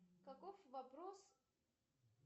каков вопрос